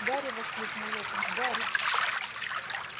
гарри воскликнул локонс гарри